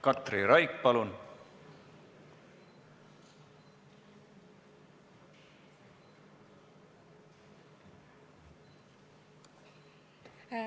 Katri Raik, palun!